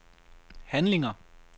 handlinger